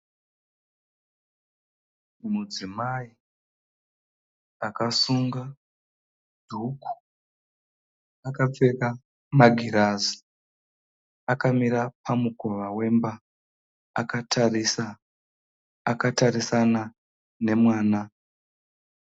Mudzimai akasunga dhuku. Akapfeka magirazi. Akamira pamukova wemba akatarisana nemwana.